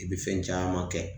I bi fɛn caaman kɛ